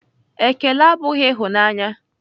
Ekele abụghị ịhụnanya.